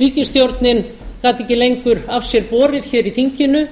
ríkisstjórnin gat ekki lengur af sér borið hér í þinginu